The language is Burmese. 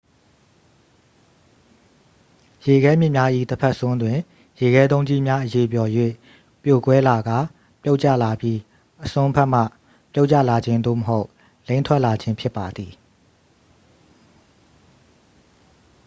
ရေခဲမြစ်များ၏တစ်ဖက်စွန်းတွင် ရေခဲတုံးကြီးများ အရည်ပျော်၍ပြိုကွဲလာကာ ပြုတ်ကျလာပြီး အစွန်းဖက်မှ ပြုတ်ကျလာခြင်း သို့မဟုတ် လိမ့်ထွက်လာခြင်း ဖြစ်ပါသည်